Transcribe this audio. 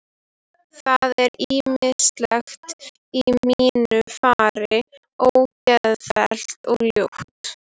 Það er ýmislegt í mínu fari ógeðfellt og ljótt.